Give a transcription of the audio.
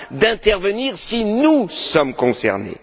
d'intervenir, si nous étions concernés.